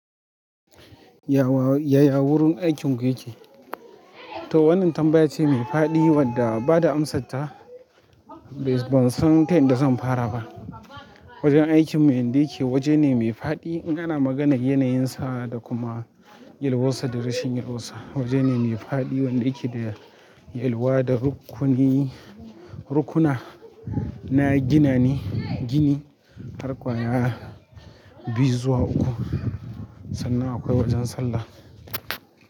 Yaya gurin aikin ku yake? To wannan tambaya ce mai faɗi wadda ba da amsarta ban san ta yadda zan fara ba. Wajen aikin mu inda yake waje ne mai faɗi in ana maganar yanayinsa da kuma yalwarsa da rashin yalwarsa. Waje ne mai faɗi wanda yake da yalwa da rukuni, rukuna na gini har ƙwaya biyu zuwa uku sannan akwai wajen sallah.